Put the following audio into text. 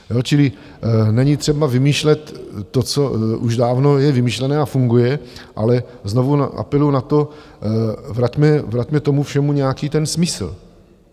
Čili není třeba vymýšlet to, co už dávno je vymyšlené a funguje, ale znovu apeluji na to, vraťme tomu všemu nějaký ten smysl.